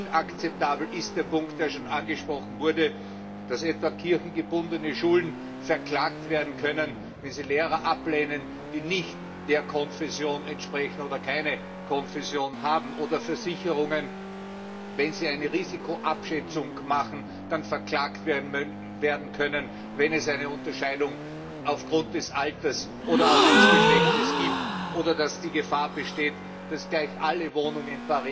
Inakzeptabel ist der Punkt, der bereits angesprochen wurde, dass etwa kirchengebundene Schulen verklagt werden können, wenn sie Lehrer ablehnen, die nicht der Konfession entsprechen oder keine Konfession haben, oder dass Versicherungen, wenn sie eine Risikoabschätzung machen, verklagt werden können, wenn es eine Unterscheidung aufgrund des Alters oder auch des Geschlechts gibt, oder dass die Gefahr besteht, dass gleich alle Wohnungen